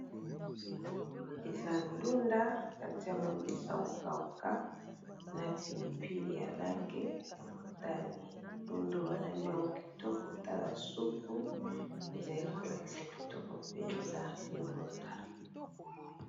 Eza ndunda, ba tia'ngo mbisi ya ko kawuka, na pilipili ya langi ya motane . Ndund'oyo, ba lamb'iango kitoko tala supu ezali ko lakisa kitoko penza, ndunda .